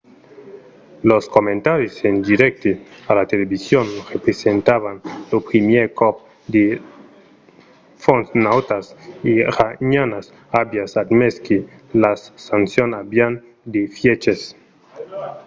los comentaris en dirècte a la television representavan lo primièr còp que de fons nautas iranianas avián admés que las sancions avián d'efièches